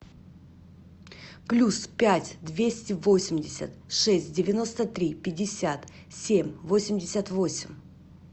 плюс пять двести восемьдесят шесть девяносто три пятьдесят семь восемьдесят восемь